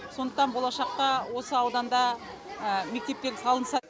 сондықтан болашақта осы ауданда мектептер салынса